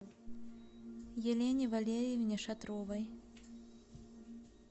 елене валериевне шатровой